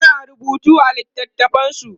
suna rubutu a littatafansu